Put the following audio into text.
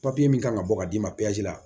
Papiye min kan ka bɔ ka d'i ma